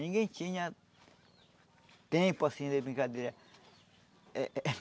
Ninguém tinha tempo, assim, de brincadeira. Eh